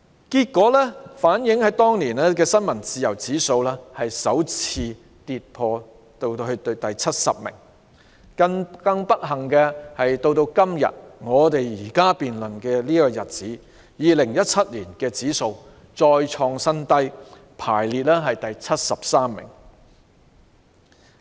結果，當年香港的新聞自由指數排名首次跌至第七十位。更不幸的是 ，2017 年香港的新聞自由指數排名再創新低，排第七十三位。